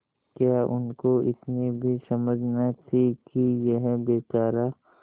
क्या उनको इतनी भी समझ न थी कि यह बेचारा